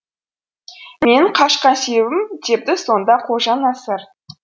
менің қашқан себебім депті сонда қожанасыр